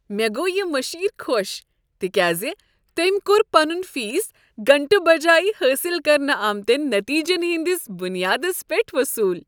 مےٚ گوو یِہ مشیر خوش تکیاز تٔمۍ کوٚر پنن فیس گنٹہٕ بجایہ حٲصل کرنہٕ آمتین نتیجن ہٕندس بنیادس پیٹھ وصول۔